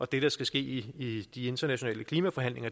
det der skal ske i de internationale klimaforhandlinger